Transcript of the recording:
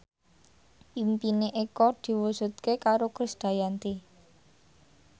impine Eko diwujudke karo Krisdayanti